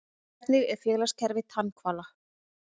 Hvernig er félagskerfi tannhvala?